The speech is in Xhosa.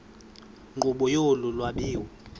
nkqubo yolu lwabiwo